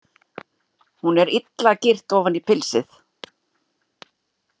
Hún er illa girt ofan í pilsið.